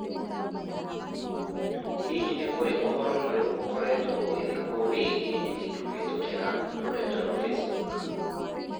Hihi nĩ kũrĩ ũhoro mwerũ ũkoretwo ũgĩthikwo wĩgiĩ nyenikũhītũkīra rũrenda rũa facebook?